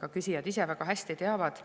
ka küsijad ise väga hästi teavad.